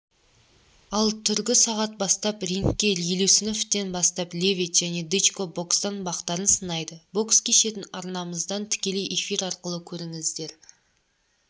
ал түргі сағат бастап рингке елеусіновтен бастап левит және дычко бокстан бақтарын сынайды бокс кешін арнамыздан тікелей эфир арқылы көріңіздер